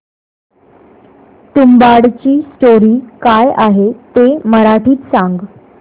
तुंबाडची स्टोरी काय आहे ते मराठीत सांग